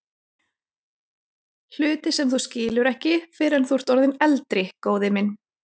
Hluti sem þú skilur ekki fyrr en þú ert orðinn eldri, góði minn.